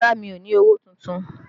Rárá, mi ò ní owó tuntun